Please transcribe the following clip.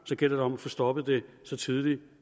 gælder det om at få stoppet det så tidligt